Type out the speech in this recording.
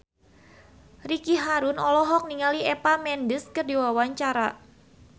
Ricky Harun olohok ningali Eva Mendes keur diwawancara